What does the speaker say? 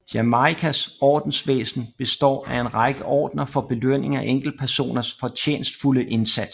Jamaicas ordensvæsen består af en række ordener for belønning af enkeltpersoners fortjenstfulde indsats